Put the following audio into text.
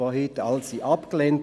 Sie wurden heute alle abgelehnt.